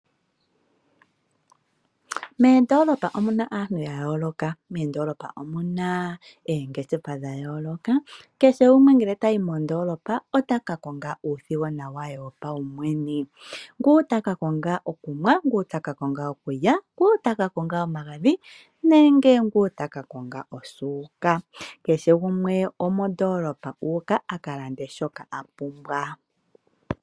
Moondoolopa omu na aantu ya yooloka. Moondoolopa omu na oongeshefa dha yooloka. Kehe gumwe ngele ta yi mondoolopa, ota ka konga uuthigona we wopawumwene. Gumwe ota ka konga okunwa, okulya, omagadhi nenge osuuka. Kehe gumwe omondoolopa ngaa u uka a ka lande shoka a pumbwa.